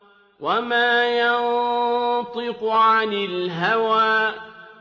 وَمَا يَنطِقُ عَنِ الْهَوَىٰ